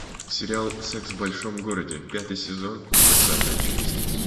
сериал секс в большом городе пятый сезон двадцатая часть